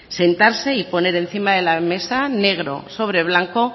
sentarse y poner encima de la mesa negro sobre blanco